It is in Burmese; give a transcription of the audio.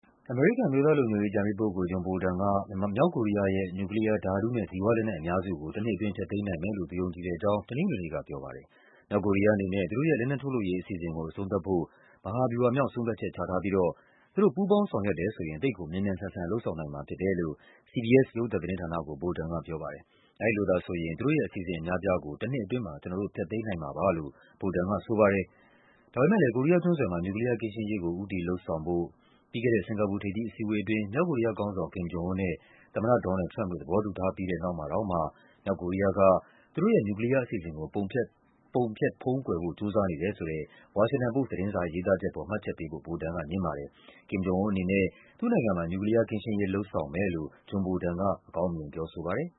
အမေရိကန် အမျိုးသားလုံခြုံရေးအကြံပေးပုဂ္ဂိုလ် John Bolton က မြောက်ကိုရီးယားရဲ့ နျူကလီးယား၊ ဓာတုနဲ့ ဇီဝလက်နက် အများစုကို တနှစ်အတွင်း ဖျက်သိမ်းနိုင်မယ်လို့ သူယုံကြည်တဲ့အကြောင်း တနင်္ဂနွေနေ့ကပြောပါတယ်။ မြောက်ကိုရီးယားအနေနဲ့ သူတို့ရဲ့ လက်နက်ထုတ်လုပ်ရေး အစီအစဉ်ကို အဆုံးသတ်ဖို့ “မဟာဗျူဟာမြောက် ဆုံးဖြတ်ချက်” ချထားပြီးတော့ “သူတို့ ပူးပေါင်းဆောင်ရွက်တယ်ဆိုရင် သိပ်ကိုမြန်မြန်ဆန်ဆန် လုပ်ဆောင်နိုင်မှာဖြစ်တယ်” လို့ CBS ရုပ်သံ သတင်းဌာနကို Bolton ကပြောပါတယ်။ အဲဒီလိုသာဆိုရင် “သူတို့ရဲ့ အစီအစဉ်အများအပြားကို တနှစ်အတွင်းမှာ ကျနော်တို့ ဖျက်သိမ်းနိုင်မှာပါ” လို့ Bolton ကဆိုပါတယ်။ ဒါပေမဲ့လည်း “ကိုရီးယားကျွန်းဆွယ်မှာ နျူကလီးယားကင်းရှင်းရေးကို ဦးတည်လုပ်ဆောင်ဖို့” ပြီးခဲ့တဲ့ စင်္ကာပူထိပ်သီးအစည်း အဝေးအတွင်း မြောက်ကိုရီယားခေါင်းဆောင် Kim Jong Un နဲ့ သမ္မတ ဒေါ်နယ်လ်ဒ် ထရမ့်ပ်တို့ သဘောတူထားပြီးတဲ့နောက် မှာတောင်မှ မြောက်ကိုရီးယားက သူတို့ရဲ့နျူကလီးယားအစီအစဉ်ကို ပုံဖျက် ဖုံးကွယ်ဖို့ ကြိုးစားနေတယ်ဆိုတဲ့ ဝါရှင်တန်ပို့စ် သတင်းစာရဲ့ ရေးသားချက်အပေါ် မှတ်ချက်ပေးဖို့ Bolton က ငြင်းပါတယ်။ Kim အနေနဲ့ သူ့နိုင်ငံမှာ နျူကလီးယားကင်းရှင်းရေး လုပ်ဆောင်မယ်လို့ Bolton က အကောင်းမြင် ပြောဆိုပါတယ်